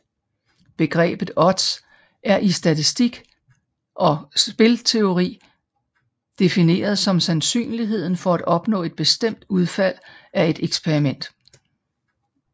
Begrebet odds er i statistik og spilteori defineret som sandsynligheden for at opnå et bestemt udfald af et eksperiment